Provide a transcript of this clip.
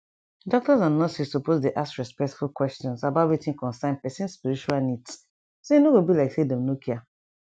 doctors and nurses suppose dey ask respectful questions about wetin concern person spiritual needs so e no go be like say dem no care